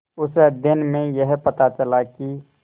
उस अध्ययन में यह पता चला कि